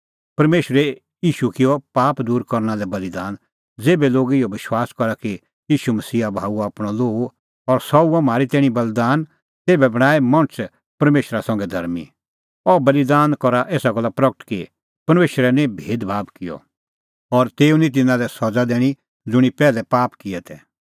परमेशरै किअ ईशू पाप दूर करना लै बल़ीदान ज़ेभै लोग इहअ विश्वास करा कि ईशू मसीहा बहाऊअ आपणअ लोहू और सह हुअ म्हारी तैणीं बल़ीदान तेभै बणांऐं मणछ परमेशरा संघै धर्मीं अह बल़ीदान करा एसा गल्ला प्रगट कि परमेशरै निं भेदभाब किअ और तेऊ निं तिन्नां लै सज़ा दैनी ज़ुंणी पैहलै पाप किऐ तै